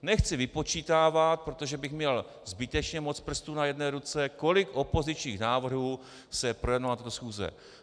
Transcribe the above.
Nechci vypočítávat, protože bych měl zbytečně moc prstů na jedné ruce, kolik opozičních návrhů se projednalo na této schůzi.